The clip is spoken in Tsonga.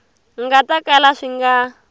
nga ta kala swi nga